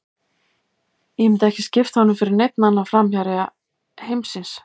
Ég myndi ekki skipta honum fyrir neinn annan framherja heimsins.